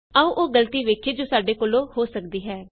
ਆਉ ਉਹ ਗਲਤੀ ਵੇਖੀਏ ਜੋ ਸਾਡੇ ਕੋਲੋਂ ਹੋ ਸਕਦੀ ਹਾਂ